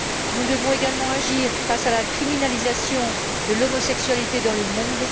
Nous devons également agir face à la criminalisation de l'homosexualité dans le monde